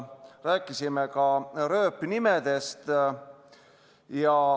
Rääkisime ka rööpnimedest.